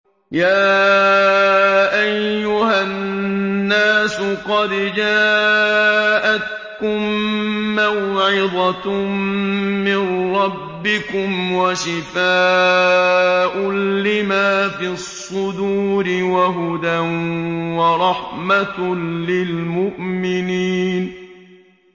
يَا أَيُّهَا النَّاسُ قَدْ جَاءَتْكُم مَّوْعِظَةٌ مِّن رَّبِّكُمْ وَشِفَاءٌ لِّمَا فِي الصُّدُورِ وَهُدًى وَرَحْمَةٌ لِّلْمُؤْمِنِينَ